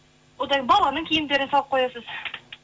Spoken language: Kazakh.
одан баланың киімдерін салып қоясыз